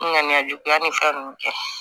Ŋaniyajuguya ni fɛn ninnu kɛ